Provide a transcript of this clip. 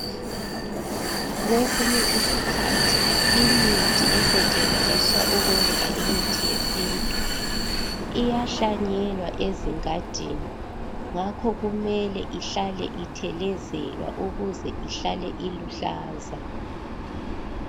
Kwesinye isikhathi imithi esetshenziswa ukwenza imithi yesintu, iyahlanyelwa ezingadini ngakho kumele ihlale ithelezelwa ukuze ihlale iluhlaza.